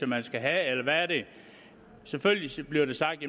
man skal have eller hvad er det selvfølgelig bliver der sagt